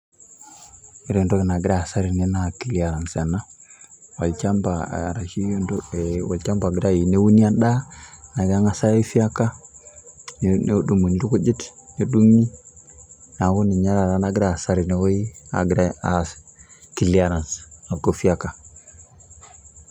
Kore entoki nagira aaza tene, naa clearance ena olshamba araki olshamba Ogirae ayieu neuni endaa, neeku kegirae aifyeka nedunguni irkujit, nedung'i, neeku ninye taata nagira aaza tene wueji agira aas clearance ya kucheka.